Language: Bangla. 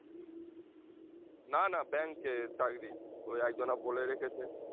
না না bank এ চাকরি ওই একজন বলে রেখেছে